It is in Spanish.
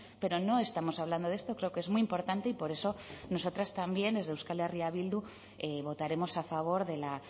pero no estamos hablando de esto creo que es muy importante y por eso nosotras también desde euskal herria bildu votaremos a favor de la